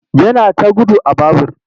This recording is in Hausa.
Yana ta gudu a babur.